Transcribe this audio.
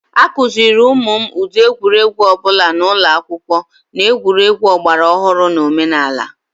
A kụziere ụmụ m ụdị egwuregwu ọbụla n'ụlọ akwụkwọ, na egwuregwu ọgbaraọhrụ na omenala